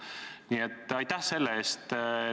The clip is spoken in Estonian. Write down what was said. Nii et aitäh selle eest!